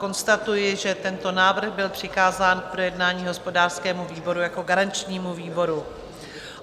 Konstatuji, že tento návrh byl přikázán k projednání hospodářskému výboru jako garančnímu výboru.